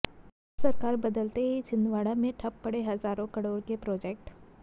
सरकार बदलते ही छिंदवाड़ा में ठप पड़े हजारों करोड़ के प्रोजेक्ट